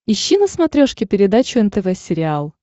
ищи на смотрешке передачу нтв сериал